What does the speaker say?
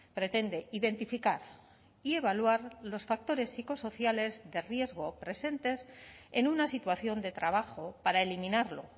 pretende identificar y evaluar los factores psicosociales de riesgo presentes en una situación de trabajo para eliminarlo